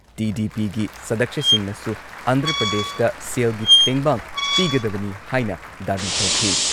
ꯇꯤ.ꯗꯤ.ꯄꯤꯒꯤ ꯁꯗꯛꯁ꯭ꯌꯁꯤꯡꯅꯁꯨ ꯑꯟꯙ꯭ꯔ ꯄ꯭ꯔꯗꯦꯁꯇ ꯁꯦꯜꯒꯤ ꯇꯦꯡꯕꯥꯡ ꯄꯤꯒꯗꯕꯅꯤ ꯍꯥꯏꯅ ꯗꯥꯕꯤ ꯇꯧꯈꯤ ꯫